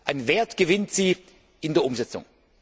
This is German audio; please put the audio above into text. An Wert gewinnt sie in der Umsetzung.